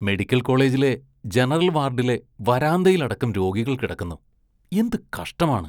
Medical‍ കോളേജിലെ general‍ വാര്‍ഡിലെ വരാന്തയില്‍ അടക്കം രോഗികള്‍ കിടക്കുന്നു, എന്ത് കഷ്ടമാണ്.